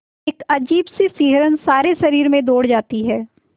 एक अजीब सी सिहरन सारे शरीर में दौड़ जाती है